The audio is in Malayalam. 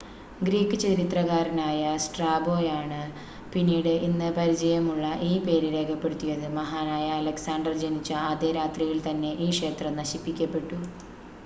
ഗ്രീക്ക് ചരിത്രകാരനായ സ്ട്രാബോയാണ് പിന്നീട് ഇന്ന് പരിചയമുള്ള ഈ പേര് രേഖപ്പെടുത്തിയത് മഹാനായ അലക്സാണ്ടർ ജനിച്ച അതേ രാത്രിയിൽ തന്നെ ഈ ക്ഷേത്രം നശിപ്പിക്കപ്പെട്ടു